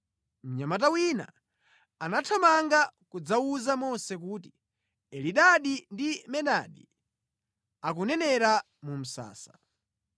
Mnyamata wina anathamanga kudzawuza Mose kuti, “Elidadi ndi Medadi akunenera mu msasa.”